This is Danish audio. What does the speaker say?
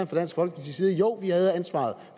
for dansk folkeparti jo vi havde ansvaret